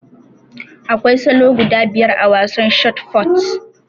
Akwai salo guda biyar a wasan shot fut